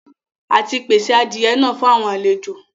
À tì pèsè àdìẹ̀ náà fún àwọn alẹ̀jọ.